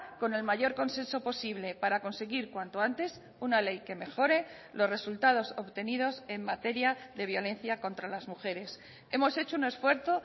con el mayor consenso posible para conseguir cuanto antes una ley que mejore los resultados obtenidos en materia de violencia contra las mujeres hemos hecho un esfuerzo